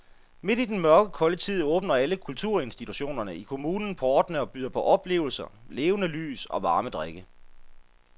Midt i den mørke, kolde tid åbner alle kulturinstitutionerne i kommunen portene og byder på oplevelser, levende lys og varme drikke.